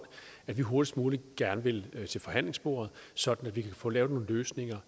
at vi hurtigst muligt gerne vil til forhandlingsbordet sådan at vi kan få lavet nogle løsninger